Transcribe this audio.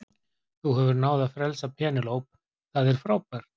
Þú hefur náð að frelsa Penélope, það er frábært.